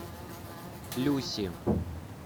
люси